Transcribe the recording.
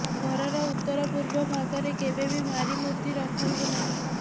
ଘରର ଉତ୍ତର ପୂର୍ବ ଭାଗରେ କେବେ ବି ଭାରି ମୂର୍ତ୍ତୀ ରଖନ୍ତୁ ନାହିଁ